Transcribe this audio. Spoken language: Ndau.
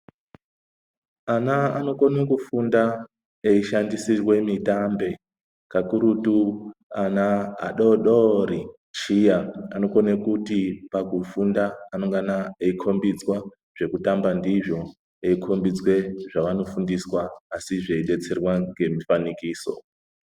Ana anokwanisa kufunda eishandisirwa mitambe kakurutu ana adodori shiya anokona kuti pakufunda anongana eikombidzwa zvekutamba ndizvo anongana eikombidzwa zvavanofundiswa asi zveidetserwa nemifanikiso.